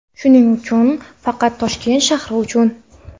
Shuning uchun faqat Toshkent shahri uchun.